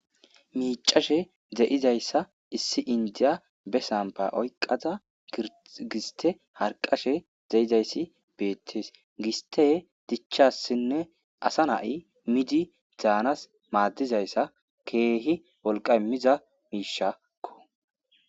Miccashshe de"izayissa issi indiya be samba oyiqada giste harqashshe de'izayissa bettes gisttey dichchasinen asa nay miidi dans maadizasa kehi wolqa imiza mishshakko